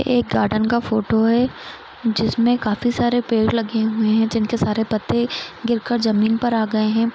एक गार्डन का फोटो है जिसमे काफी सारे पेड़ लगे हुए है जिनके सारे पत्ते गिर कर जमीन पर आ गए है।